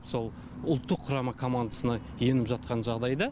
сол ұлттық құрама командасына еніп жатқан жағдайда